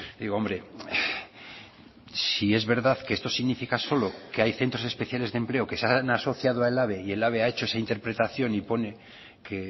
y hombre si es verdad que esto significa solo que hay centros especiales de empleo que se han asociado a ehlabe y ehlabe ha hecho esa interpretación y pone que